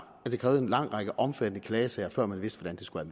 at det krævede en lang række omfattende klagesager før man vidste hvordan det skulle